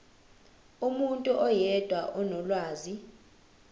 umuntu oyedwa onolwazi